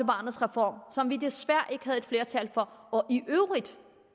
barnets reform som vi desværre ikke havde flertal for og